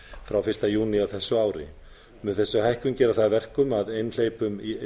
frá fyrsta júní á þessu ári mun þessi hækkun gera það að verkum að einhleypum